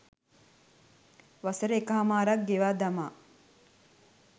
වසර එක හමාරක් ගෙවා දමා